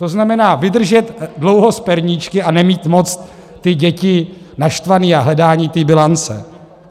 To znamená, vydržet dlouho s perníčky a nemít moc ty děti naštvané a hledání té bilance.